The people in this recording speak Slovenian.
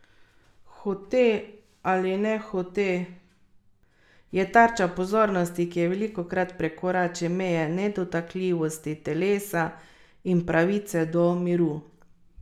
Hote ali nehote je tarča pozornosti, ki velikokrat prekorači meje nedotakljivosti telesa in pravice do miru.